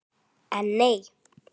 En nei!